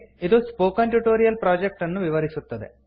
ಇದು spoken tutorial project ಅನ್ನು ವಿವರಿಸುತ್ತದೆ